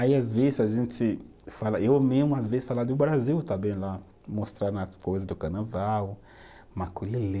Aí às vezes a gente fala, eu mesmo às vezes falo do Brasil também lá, mostrando as coisas do carnaval, maculelê.